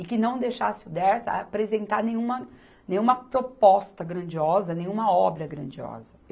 E que não deixasse o Dersa apresentar nenhuma, nenhuma proposta grandiosa, nenhuma obra grandiosa.